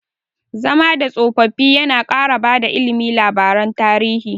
Zama da tsofaffi yana ƙara bada ilimi labaran tarihi.